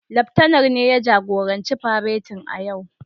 Laftanar ne ya jagoranci faretin a yau.